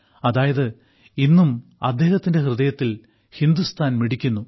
അതായത് ഇന്നും അദ്ദേഹത്തിന്റെ ഹൃദയത്തിൽ ഹിന്ദുസ്ഥാൻ മിടിക്കുന്നു